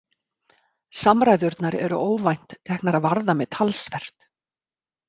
Samræðurnar eru óvænt teknar að varða mig talsvert.